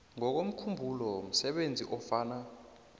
ngokomkhumbulo msebenzi ofana